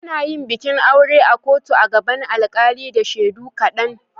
Ana yin bikin aure a kotu a gaban alkali da shaidu kaɗan.